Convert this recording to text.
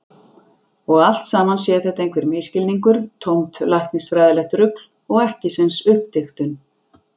Og allt saman sé þetta einhver misskilningur, tómt læknisfræðilegt rugl og ekkisens uppdiktun.